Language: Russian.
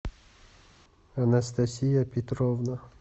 анастасия петровна